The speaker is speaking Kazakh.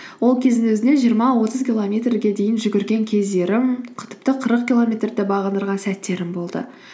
ол кездің өзінде жиырма отыз километрге дейін жүгірген кездерім тіпті қырық километрді де бағындырған сәттерім болды